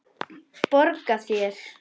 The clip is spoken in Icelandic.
Borga þér?